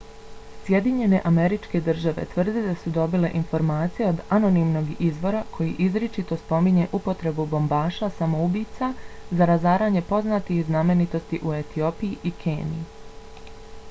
sjedinjene američke države tvrde da su dobile informacije od anonimnog izvora koji izričito spominje upotrebu bombaša samoubica za razaranje poznatih znamenitosti u etiopiji i keniji